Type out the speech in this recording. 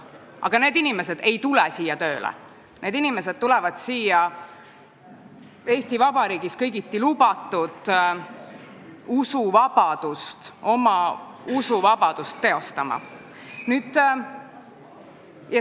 Aga need inimesed ei tule siia tööle, need inimesed tulevad siia oma Eesti Vabariigis kõigiti lubatud usuvabadust teostama.